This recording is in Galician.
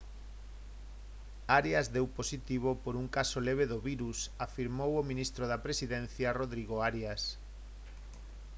arias deu positivo por un caso leve do virus afirmou o ministro da presidencia rodrigo arias